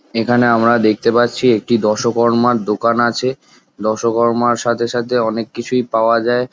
এখানে আমরা দেখতে পাচ্ছি একটি দশকর্মার দোকান আছে। দশকর্মার সাথে সাথে অনেক কিছুই পাওয়া যায়।